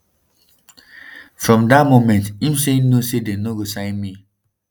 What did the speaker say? "from dat moment im say im know say dem no go sign me.